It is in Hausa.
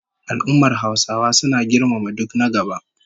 Al'ummar Hausawa suna girmama duk na gaba